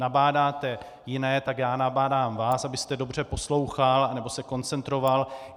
Nabádáte jiné, tak já nabádám vás, abyste dobře poslouchal nebo se koncentroval.